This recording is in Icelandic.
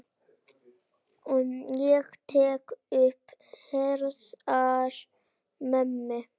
Ég tek um herðar mömmu.